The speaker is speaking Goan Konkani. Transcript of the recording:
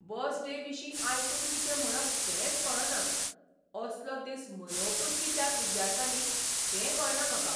बस डे विशीं आयकून कितें म्हणप तेंच कळना. असलो दीस मनोवपूच कित्याक विद्यार्थ्यांनी तें कळना म्हाका.